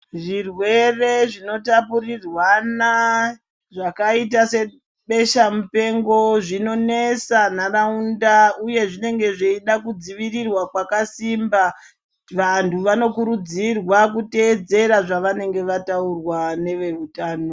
Zvirwere zvinotapurirwana zvakaita sebesha mupengo zvinonesa nharaunda uye zvinenge zveida kudzivirirwa kwakasimba vantu vanokurudzirwa kuteedzera zvavanenge vataurirwa neveutano.